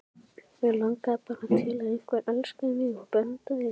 Mig langaði bara til að einhver elskaði mig og verndaði.